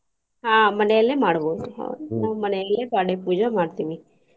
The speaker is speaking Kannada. ಆಹ್ ಮನೆಯಲ್ಲೆ ಮಾಡ್ಬಹುದು ನಾವ್ ಮನೆಯಲ್ಲೆ ಪಾಡ್ಯಾ ಪೂಜೆ ಮಾಡ್ತೇವಿ.